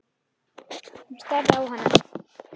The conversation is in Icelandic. Hún starði á hana.